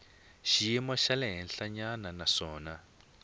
xiyimo xa le henhlanyana naswona